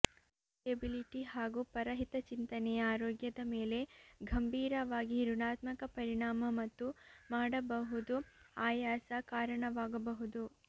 sociability ಹಾಗು ಪರಹಿತಚಿಂತನೆಯ ಆರೋಗ್ಯದ ಮೇಲೆ ಗಂಭೀರವಾಗಿ ಋಣಾತ್ಮಕ ಪರಿಣಾಮ ಮತ್ತು ಮಾಡಬಹುದು ಆಯಾಸ ಕಾರಣವಾಗಬಹುದು